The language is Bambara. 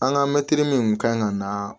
An ka mɛtiri min kun kan ka na